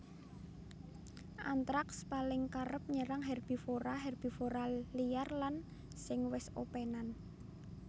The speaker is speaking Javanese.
Antraks paling kerep nyerang herbivora herbivora liar lan sing wis opènan